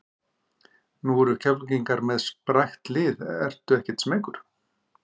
Nú eru Keflvíkingar með sprækt lið ertu ekkert smeykur?